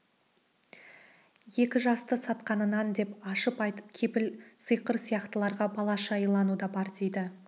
екі жасты сатқанынан деп ашып айтып кепіл сиқыр сияқтыларға балаша илану да бар дейді